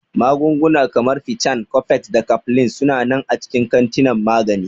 Magunguna kamar Piccan, Cofex, da Cofflin su na nan a cikin kantinan magani.